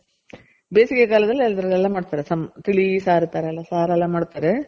ಬೇಸಿಗೆ ಕಾಲ್ದಲ್ಲಿ ಅದ್ರಲೆಲ್ಲ ಮಾಡ್ತಾರೆ ತಿಳಿ ಸಾರು ತರ ಎಲ್ಲ ಸಾರೆಲ್ಲ ಮಾಡ್ತಾರೆ